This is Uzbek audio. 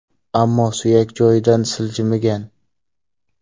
Ammo suyak joydan siljimigan.